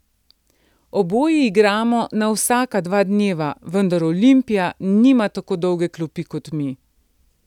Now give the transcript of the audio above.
Oboji igramo na vsaka dva dneva, vendar Olimpija nima tako dolge klopi kot mi.